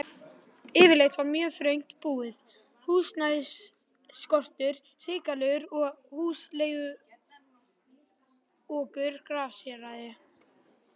Yfirleitt var mjög þröngt búið, húsnæðisskortur hrikalegur og húsaleiguokur grasséraði.